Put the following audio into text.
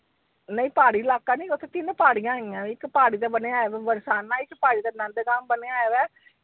ਨਹੀਂ ਪਹਾੜੀ ਇਲਾਕਾ ਨਹੀਂ ਹੈਗਾ, ਤਿੰਨ ਪਹਾੜੀਆਂ ਹੈਗੀਆਂ ਨੇ, ਇੱਕ ਪਹਾੜੀ ਤੇ ਬਣਿਆ ਹੋਇਆ ਹੈ ਇੱਕ ਪਹਾੜੀ ਤੇ ਨੰਦ ਗਾਵ ਬਣਿਆ ਹੋਇਆ ਵਾ।